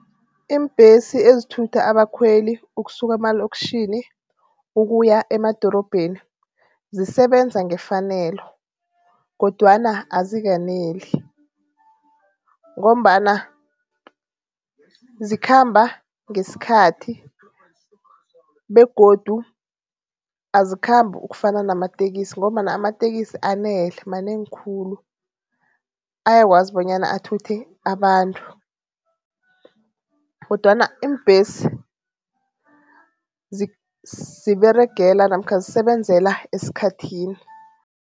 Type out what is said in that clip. Iimbhesi ezithutha abakhweli ukusuka emaloktjhini ukuya emadorobheni zisebenza ngefanelo kodwana azikaneli ngombana zikhamba ngeskhathi begodu azikhambi ukufana namatekisi ngombana amatekisi anele manengi khulu. Ayakwazi bonyana athuthe abantu kodwana iimbesi ziberegela namkha ngisebenzela eskhathini.